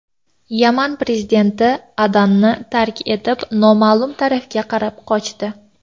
Yaman prezidenti Adanni tark etib, noma’lum tomonga qarab qochdi.